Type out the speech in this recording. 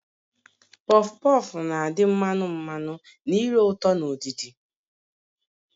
Pọf pọf na adị mmanu mmanu na ire ụtọ na udidi